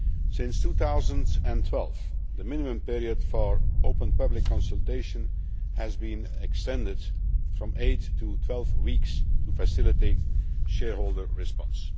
Since 2012, the minimum period for open public consultation has been extended from 8 to 12 weeks to facilitate shareholder response.